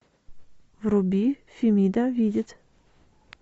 вруби фемида видит